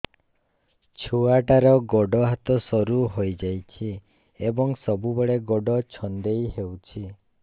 ଛୁଆଟାର ଗୋଡ଼ ହାତ ସରୁ ହୋଇଯାଇଛି ଏବଂ ସବୁବେଳେ ଗୋଡ଼ ଛଂଦେଇ ହେଉଛି